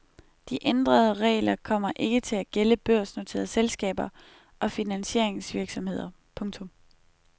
De ændrede regler kommer ikke til at gælde børsnoterede selskaber og finansieringsvirksomheder. punktum